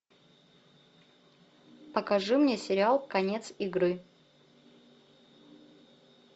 покажи мне сериал конец игры